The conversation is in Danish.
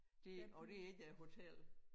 Det og det ikke æ hotel